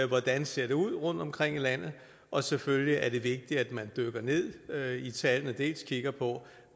hvordan det ser ud rundtomkring i landet og selvfølgelig er det vigtigt at man dykker ned i tallene og kigger på